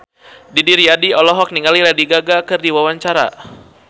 Didi Riyadi olohok ningali Lady Gaga keur diwawancara